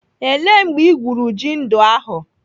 Ele mgbe igwuru ji ndị ahụ?